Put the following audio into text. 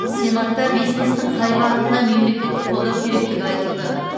сенатта бизнестің қай бағытына мемлекеттік қолдау керектігі айтылды